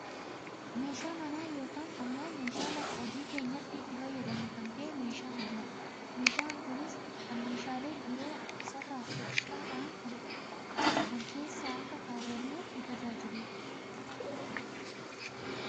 meeshaa manaa yooaan ammoo meeshaa lafa hojii keenyaatti itti fayyadamnu kan ta'e meeshaa manaa dha. meeshaan kunis kan meeshaalee biroo isarra xixiqqaa ta'an kan keessa akka kaawwannuuf nu tajaajilu dha.